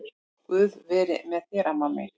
Guð veri með þér amma mín.